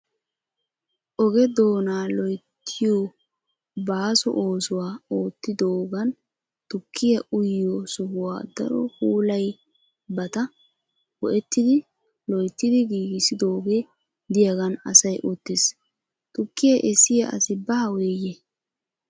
Oge doonaa loyittiyo baaso oosuwa oottidoogan tukkiya uyiyo sohuwa daro puulayiyabata go'ettidi loyittidi giigissidoogee diyagan asay uttis. Tukkiya essiya asi baaweyye?